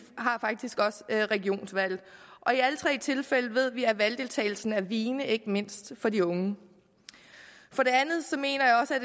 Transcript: har faktisk også regionsvalg og i alle tre tilfælde ved vi at valgdeltagelsen er vigende ikke mindst for de unge for det andet mener jeg også at